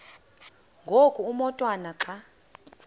ngoku umotwana xa